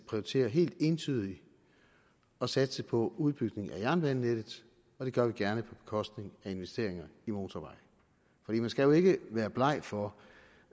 prioriterer helt entydigt at satse på udbygning af jernbanenettet og det gør vi gerne på bekostning af investeringer i motorveje for man skal jo ikke være bleg for